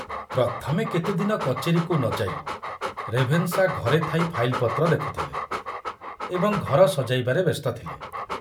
ପ୍ରଥମେ କେତେଦିନ କଚେରୀକୁ ନ ଯାଇ ରେଭେନଶା ଘରେ ଥାଇ ଫାଇଲପତ୍ର ଦେଖୁଥିଲେ ଏବଂ ଘର ସଜାଇବାରେ ବ୍ୟସ୍ତ ଥିଲେ।